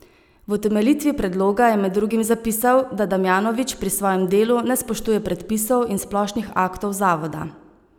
V utemeljitvi predloga je med drugim zapisal, da Damjanovič pri svojem delu ne spoštuje predpisov in splošnih aktov zavoda.